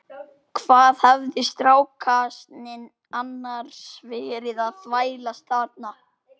Hvað hafði strákasninn annars verið að þvælast þarna?